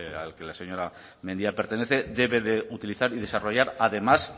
al que la señora mendia pertenece debe de utilizar y desarrollar además